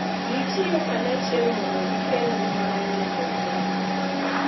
Gitiyo kanyachiel mondo gikel ngima manyien e piny.